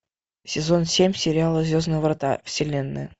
сезон семь сериала звездные врата вселенная